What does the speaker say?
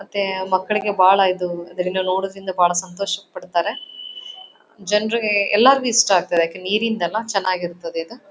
ಮತ್ತೆ ಮಕ್ಕಳಿಗೆ ಬಾಳ ಇದು ಅದರಿಂದ ನೋಡುವುದರಿಂದ ಬಹಳ ಸಂತೋಷ ಪಡ್ತಾರೆ. ಜನ್ರಿಗೆ ಎಲ್ಲಾರ್ಗು ಇಷ್ಟ ಆಗ್ತದೆ ಯಾಕೆಂದ್ರೆ ನೀರಿಂದ ಅಲ್ಲ ಚನ್ನಾಗ್ ಇರ್ತದೆ ಇದು.